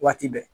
Waati bɛɛ